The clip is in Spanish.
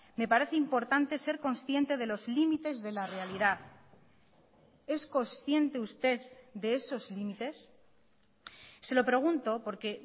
me parece importante ser consciente de los límites de la realidad es consciente usted de esos límites se lo pregunto porque